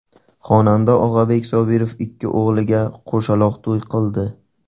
Xonanda Og‘abek Sobirov ikki o‘g‘liga qo‘shaloq to‘y qildi .